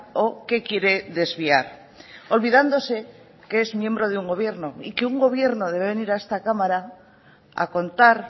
o qué quiere desviar olvidándose que es miembro de un gobierno y que un gobierno debe venir a esta cámara a contar